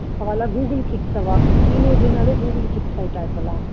அவா எல்லாம் google kids அவா teenage ன்னாலே google kids ஆயிட்டா இப்போ எல்லாம்